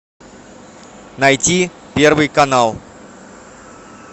найти первый канал